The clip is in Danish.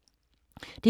DR2